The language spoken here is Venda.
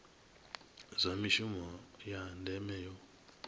zwa mishumo ya ndeme yo